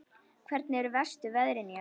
Hvernig eru verstu veðrin hérna?